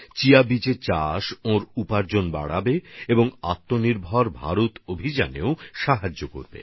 chia seeds এর চাষ তাঁর আয়ও বাড়াবে এবং আত্মনির্ভর ভারত অভিযানেও সহায়তা পাওয়া যাবে